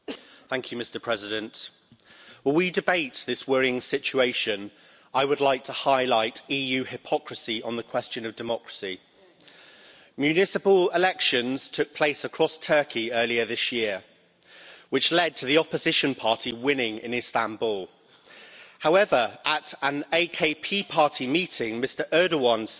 Mr President, while we debate this worrying situation I would like to highlight EU hypocrisy on the question of democracy. Municipal elections took place across Turkey earlier this year, which led to the opposition party winning in Istanbul. However, at an AKP party meeting Mr Erdogan said